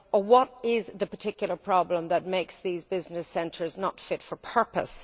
What is the particular problem which makes these business centres not fit for purpose?